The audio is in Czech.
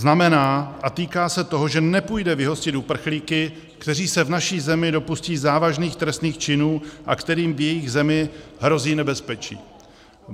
Znamená a týká se toho, že nepůjde vyhostit uprchlíky, kteří se v naší zemi dopustí závažných trestných činů a kterým v jejich zemi hrozí nebezpečí.